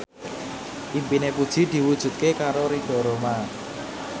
impine Puji diwujudke karo Ridho Roma